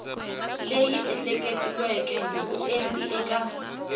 leyi ehleketiweke hi vuenti eka